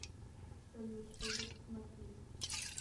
салют пойду посмотрю